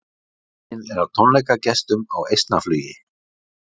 Myndin er af tónleikagestum á Eistnaflugi.